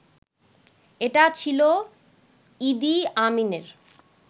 এটা ছিল ইদি আমিনের